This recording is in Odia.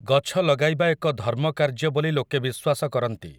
ଗଛ ଲଗାଇବା ଏକ ଧର୍ମକାର୍ଯ୍ୟ ବୋଲି ଲୋକେ ବିଶ୍ୱାସ କରନ୍ତି ।